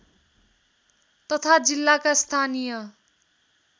तथा जिल्लाका स्थानीय